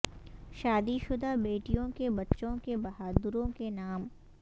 شادی شدہ بیٹیوں کے بچوں کے بہادروں کے نام